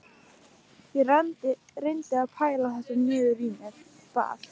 Ég reyndi að bæla þetta niður í mér, bað